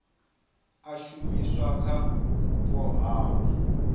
a shumiswa kha vhupo havho